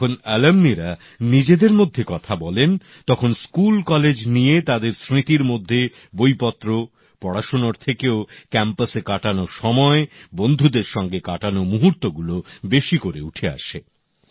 যখন প্রাক্তনিরা নিজেদের মধ্যে কথা বলেন তখন স্কুলকলেজ নিয়ে তাঁদের স্মৃতির মধ্যে বইপত্র পড়াশোনার থেকেও ক্যাম্পাসে কাটানো সময় বন্ধুদের সঙ্গে কাটানো মুহূর্তগুলো বেশি করে উঠে আসে